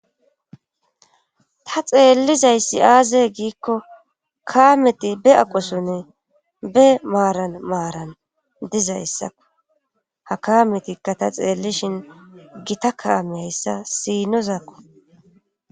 ta xeellizayssi aazey giikko kaameti be aqosone be maaran maaran dizayssako ha kaametikka ta xeellishin gita kaameyayssa siinozaakko